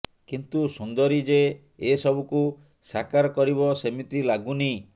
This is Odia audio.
କିନ୍ତୁ ସୁନ୍ଦରୀ ଯେ ଏସବୁକୁ ସାକାର କରିବ ସେମିତି ଲାଗୁନି